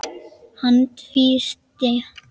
Hann tvísté.